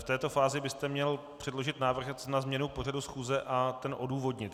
V této fázi byste měl předložit návrh na změnu pořadu schůze a ten odůvodnit.